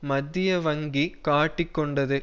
மத்திய வங்கி காட்டிக் கொண்டது